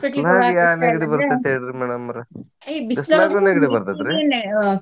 ಹೇಳ್ರಿ madam ಅವ್ರ ?